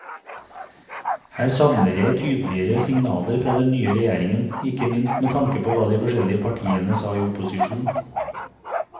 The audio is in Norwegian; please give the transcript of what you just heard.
Her savner jeg tydeligere signaler fra den nye regjeringen, ikke minst med tanke på hva de forskjellige partiene sa i opposisjon.